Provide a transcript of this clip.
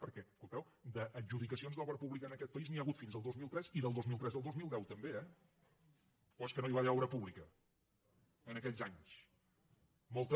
perquè escolteu d’adjudicacions d’obra pública en aquest país n’hi ha hagut fins al dos mil tres i del dos mil tres al dos mil deu també eh o és que no hi va haver obra pública en aquells anys molta